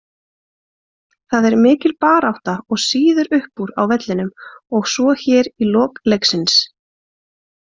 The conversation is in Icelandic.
Það er mikil barátta og sýður uppúr á vellinum og svo hér í lok leiksins.